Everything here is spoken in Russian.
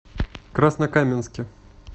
краснокаменске